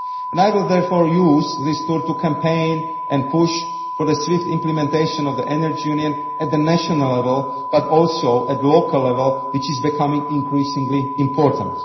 I will therefore use this tour to campaign and push for the swift implementation of the Energy Union not only at national level, but also at local level, which is becoming increasingly important.